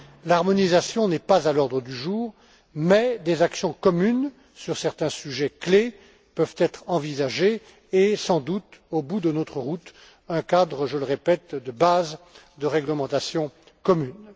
L'harmonisation n'est pas à l'ordre du jour, mais des actions communes sur certains sujets clés peuvent être envisagées et sans doute au bout de notre route, un cadre je le répète de base de réglementation commune.